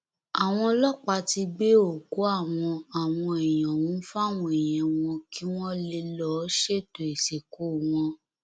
àwọn ọlọpàá ti gbé òkú àwọn àwọn èèyàn ọhún fáwọn èèyàn wọn kí wọn lè lọọ ṣètò ìsìnkú wọn